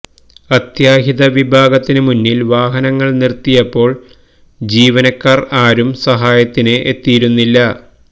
അത്യാഹിത വിഭാഗത്തിന് മുന്നില് വാഹനം നിര്ത്തിയപ്പോള് ജീവനക്കാര് ആരും സഹായത്തിന് എത്തിയിരുന്നില്ല